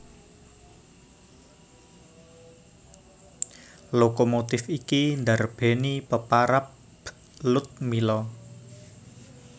Lokomotif iki ndarbèni peparab Ludmilla